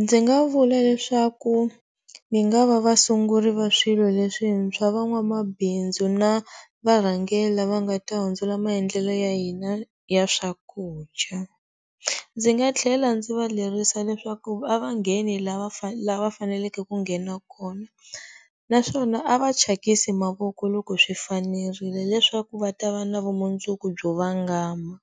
Ndzi nga vula leswaku mi nga va vasunguri va swilo leswi ntshwa van'wamabindzu na varhangeri la va nga ta hundzula maendlelo ya hina ya swakudya, ndzi nga tlhela ndzi va lerisa leswaku a va ngheni la va la va faneleke ku nghena kona naswona a va chakisi mavoko loko swi fanerile leswaku va ta va na vumundzuku byo vangama.